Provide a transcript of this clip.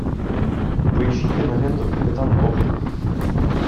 поищи киноленту капитан коблик